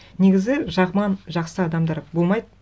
негізі жаман жақсы адамдар болмайды